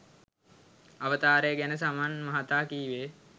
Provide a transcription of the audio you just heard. අවතාරය ගැන සමන් මහතා කීවේ